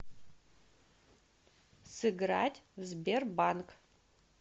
сыграть в сбербанк